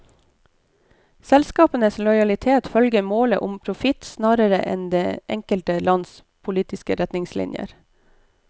Selskapenes lojalitet følger målet om profitt snarere enn det enkelte lands politiske retningslinjer.